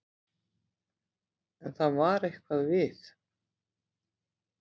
En það var eitthvað við